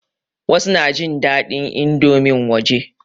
Wasu na jin daɗin indomin waje.